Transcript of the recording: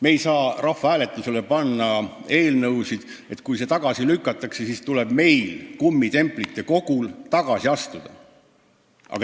Me ei saa rahvahääletusele panna eelnõusid, sest kui need tagasi lükatakse, siis tuleb meil, kummitemplite kogul, tagasi astuda.